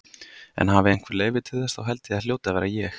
En hafi einhver leyfi til þess, þá held ég að það hljóti að vera ég.